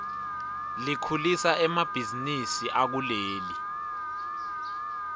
likhulisa emabihzinisi akuleli